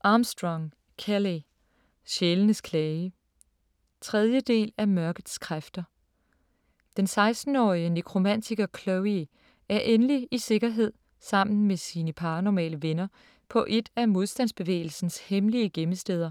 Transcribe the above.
Armstrong, Kelley: Sjælenes klage 3. del af Mørkets kræfter. Den 16-årige nekromantiker Chloe er endelig i sikkerhed sammen med sine paranormale venner på et af modstandsbevægelsens hemmelige gemmesteder,